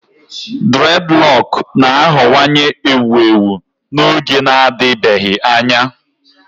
Dreadlock na-aghọwanye ewu ewu n'oge na-adịbeghị anya.